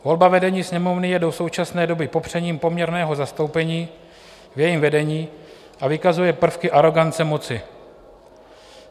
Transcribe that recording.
Volba vedení Sněmovny je do současné doby popřením poměrného zastoupení v jejím vedení a vykazuje prvky arogance moci.